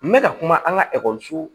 N bɛ ka kuma an ka ekɔliso